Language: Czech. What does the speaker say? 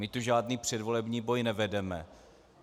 My tu žádný předvolební boj nevedeme.